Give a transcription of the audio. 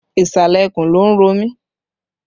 Ìsàlẹ̀ ikùn ló ń ro mi